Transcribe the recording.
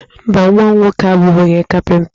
Mba, nwa m nwoke abụghị onye kapịnta.